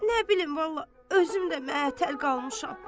Nə bilim, vallah, özüm də məəttəl qalmışam.